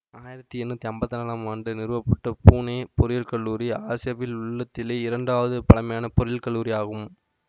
ஆயிரத்தி எண்ணூற்றி ஐம்பத்தி நான்காம் ஆண்டு நிறுவப்பட்ட புனே பொறியியல் கல்லூரி ஆசியாவில் உள்ளதிலேயே இரண்டாவது பழமையான பொறியியல் கல்லூரியாகும்